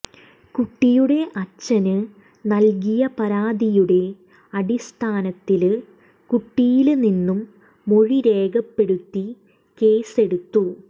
കുട്ടിയുടെ അച്ഛന് നല്കിയ പരാതിയുടെ അടിസ്ഥാനത്തില് കുട്ടിയില് നിന്നും മൊഴി രേഖപ്പെടുത്തി കേസ് എടുത്തു